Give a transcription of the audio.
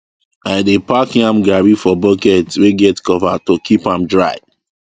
i dey pack yam garri for bucket wey get cover to keep am dry